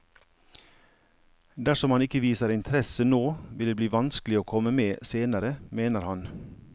Dersom man ikke viser interesse nå vil det bli vanskelig å komme med senere, mener han.